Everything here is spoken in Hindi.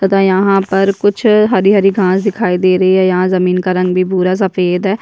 तथा यहाँ पर कुछ हरी - हरी घास दिखाई दे रही है यहाँ जमीन का रंग भी भूरा सफ़ेद है।